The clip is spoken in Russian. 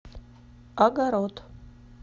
огород